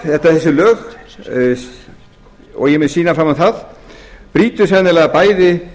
þessi lög og ég mun sýna fram á það brjóta sennilega bæði